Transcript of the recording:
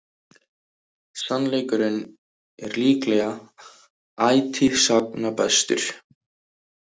Sannleikurinn er líklega ætíð sagna bestur.